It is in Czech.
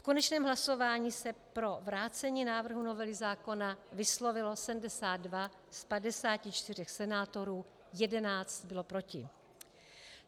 V konečném hlasování se pro vrácení návrhu novely zákona vyslovilo 54 ze 72 senátorů, 11 bylo proti.